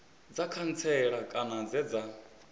dza khantsela kana dze dza